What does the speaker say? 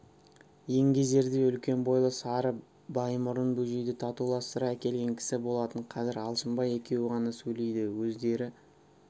еңгезердей үлкен бойлы сары баймұрын бөжейді татуластыра әкелген кісі болатын қазір алшынбай екеуі ғана сөйлейді өздері